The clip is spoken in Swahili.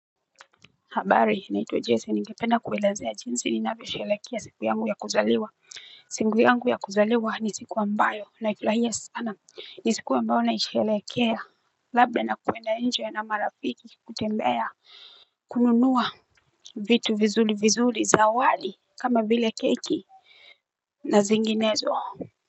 Habari natwa Jassi n ningepend a kuwelezea jinsi ninavyoku shelekea siku yangu ya kuzaliwa singu yangu ya kuzaliwa ni siku ambayo naifurahia sana ni siku ambayo naishelekea labda nakwenda nje na marafiki kutembea kununua vitu vizuri vizuri zawadi kama vile keki na zinginezo.